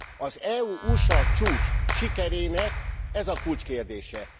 Az EU USA csúcs sikerének ez a kulcskérdése.